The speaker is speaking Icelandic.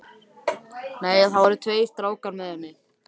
Nei, það voru tveir strákar með henni.